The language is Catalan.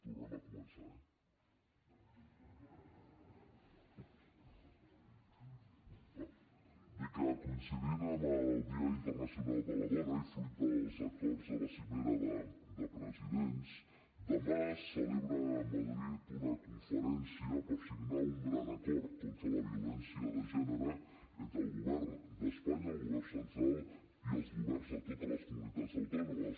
tornem a començar eh nacional de les dones i fruit dels acords de la cimera de presidents demà es celebra a madrid una conferència per signar un gran acord contra la violència de gènere entre el govern d’espanya el govern central i els governs de totes les comunitats autònomes